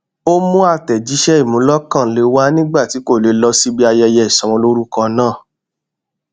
ó mú àtẹjíṣẹ ìmúlọkànle wá nígbà tí kò lè lọ síbi ayẹyẹ ìsọmọlórúkọ náà